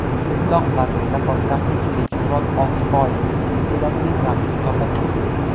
Mutlaq vaznda poytaxtlik Bekmurod Oltiboyevga teng keladigan raqib topilmadi.